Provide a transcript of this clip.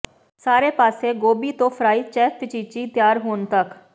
ਸਾਰੇ ਪਾਸੇ ਗੋਭੀ ਤੋਂ ਫਰਾਈ ਚੇਵਪਚੀਚੀ ਤਿਆਰ ਹੋਣ ਤਕ